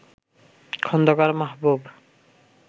Khandakar Mahbub